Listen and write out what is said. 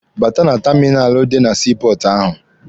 Bata na taminalụ dị na sii pọọtụ ahụ!